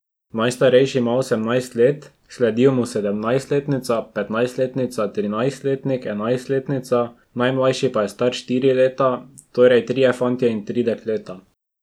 Najstarejši ima osemnajst let, sledijo mu sedemnajstletnica, petnajstletnica, trinajstletnik, enajstletnica, najmlajši pa je star štiri leta, torej trije fantje in tri dekleta.